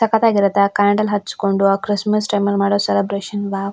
ಸಕ್ಕತ್ತ್ ಆಗಿರುತ್ತೆ ಆ ಕ್ಯಾಂಡಲ್ ಹಚ್ಕೊಂಡು ಆ ಕ್ರಿಸ್ಸ್ಮಸ್ಸ್ ಟೈಮಲ್ಲಿ ಮಾಡೊ ಸೆಲೆಬ್ರೇಶನ್ ವಾವ್ .